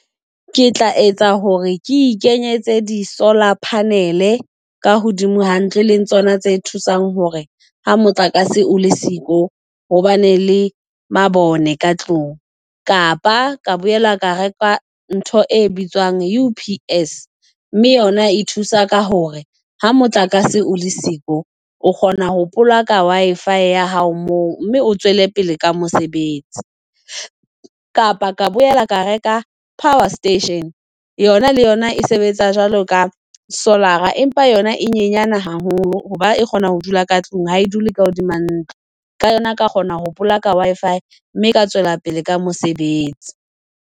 Ke tla etsa hore ke i kenyetse di-solar panel ka hodimo ha ntlo. E le tsona tse thusang hore ha motlakase o le siko hobane le mabone ka tlung. Kapa ka boela ka reka ntho e bitswang UPS mme yona e thusa ka hore ha motlakase o le siko o kgona ho plug-aka Wi-Fi ya hao moo mme o tswele pele ka mosebetsi. Kapa ka boela ka reka power station yona le yona e sebetsa jwalo ka solar-a, empa yona e nyenyana haholo hoba e kgona ho dula ka tlung, ha e dule ka hodima ntlo. Ka yona ka kgona ho plug-a Wi-Fi, mme ka tswela pele ka mosebetsi.